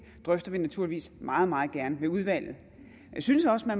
drøfter vi naturligvis meget meget gerne med udvalget men jeg synes også at